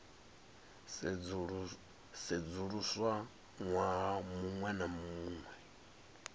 sedzuluswa ṅwaha muṅwe na muṅwe